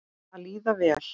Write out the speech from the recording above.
Að líða vel.